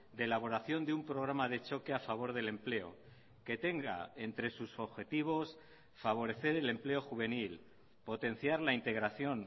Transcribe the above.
de elaboración de un programa de choque a favor del empleo que tenga entre sus objetivos favorecer el empleo juvenil potenciar la integración